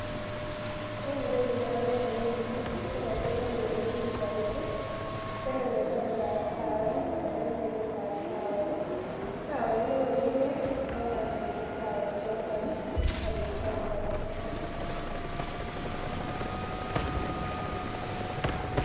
En ireyu akere biik muut ih chekotelel kebir pichait ih teleli en tabandap kawek anan en kwenetab kawek. Kawek ko kokorurio kogoyam kebut kawek choton ih kobit bakialda.